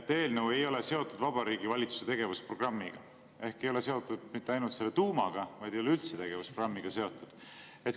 et eelnõu ei ole seotud Vabariigi Valitsuse tegevusprogrammiga ehk ei ole seotud mitte ainult selle tuumaga, vaid ei ole üldse tegevusprogrammiga seotud.